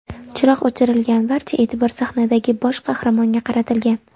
Chiroq o‘chirilgan, barcha e’tibor sahnadagi bosh qahramonga qaratilgan.